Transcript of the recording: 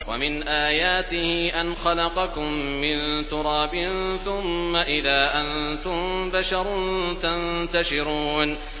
وَمِنْ آيَاتِهِ أَنْ خَلَقَكُم مِّن تُرَابٍ ثُمَّ إِذَا أَنتُم بَشَرٌ تَنتَشِرُونَ